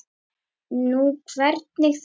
Nú, hvernig þá?